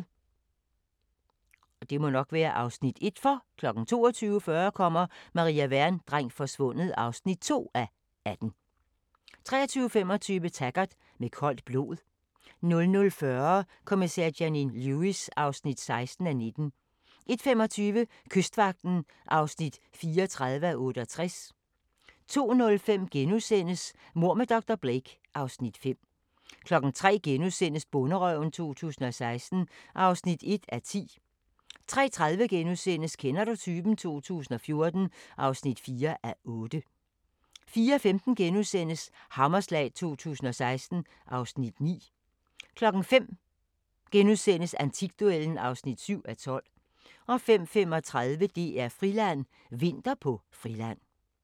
22:40: Maria Wern: Dreng forsvundet (2:18) 23:25: Taggart: Med koldt blod 00:40: Kommissær Janine Lewis (16:19) 01:25: Kystvagten (34:68) 02:05: Mord med dr. Blake (Afs. 5)* 03:00: Bonderøven 2016 (1:10)* 03:30: Kender du typen? 2014 (4:8)* 04:15: Hammerslag 2016 (Afs. 9)* 05:00: Antikduellen (7:12)* 05:35: DR-Friland: Vinter på Friland